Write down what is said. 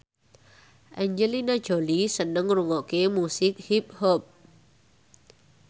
Angelina Jolie seneng ngrungokne musik hip hop